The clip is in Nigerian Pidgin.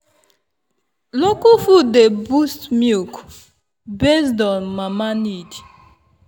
local food dey boost milk based on mama need.